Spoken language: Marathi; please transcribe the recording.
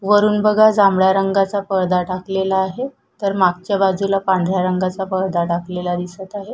वरुन बघा जांभळ्या रंगाचा पडदा टाकलेला आहे तर मागच्या बाजूला पांढऱ्या रंगाचा पडदा टाकलेला दिसत आहे.